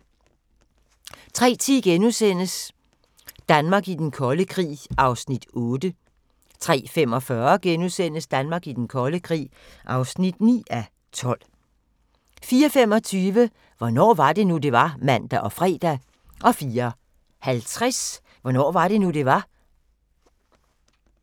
03:10: Danmark i den kolde krig (8:12)* 03:45: Danmark i den kolde krig (9:12)* 04:25: Hvornår var det nu, det var? (man og fre) 04:50: Hvornår var det nu, det var?